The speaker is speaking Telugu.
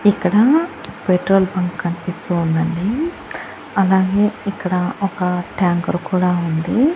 ఇక్కడ పెట్రోల్ బంక్ కన్పిస్తూ ఉందండి అలాగే ఇక్కడ ఒక ట్యాంకర్ కూడా ఉంది.